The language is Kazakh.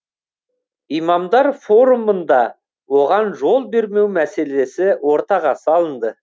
имамдар форумында оған жол бермеу мәселесі ортаға салынды